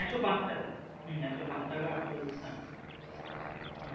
একশো পাঁচ টাকা হম একশো পাঁচ টাকা একশো হ্যাঁ হম